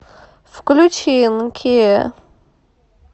включи нкея